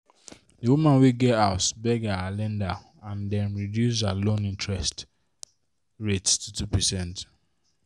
the woman wey get house beg her lender and dem reduce her loan interest rate to 2%.